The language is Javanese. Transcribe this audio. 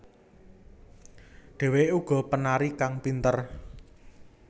Dheweké uga penari kang pinter